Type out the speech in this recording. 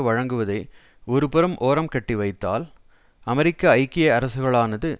வழங்குவதை ஒருபுறம் ஓரம்கட்டி வைத்தால் அமெரிக்க ஐக்கிய அரசுகளானது